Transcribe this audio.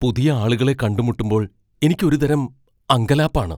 പുതിയ ആളുകളെ കണ്ടുമുട്ടുമ്പോൾ എനിക്ക് ഒരുതരം അങ്കലാപ്പ് ആണ്.